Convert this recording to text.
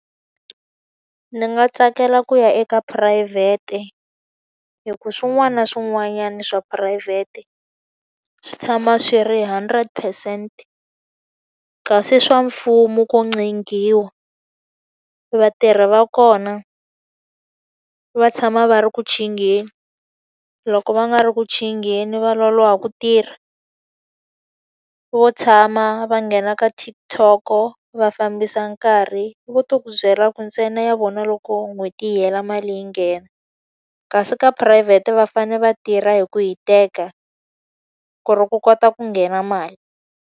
Ndzi nga tsakela ku ya eka phurayivhete hikuva swin'wana na swin'wanyana swa phurayivhete swi tshama swi ri hundred percent. Kasi swa mfumo ko ncenghiwa. Vatirhi va kona va tshama va ri ku chingheni, loko va nga ri ku chingheni va loloha ku tirha. Vo tshama, va nghena ka TikTok-o, va fambisa karhi. Va to ku byela ku ntsena ya vona loko n'hweti yi hela mali yi nghena. Kasi ka phurayivhete va fanele va tirha hi ku hiteka, ku ri ku kota ku nghena mali.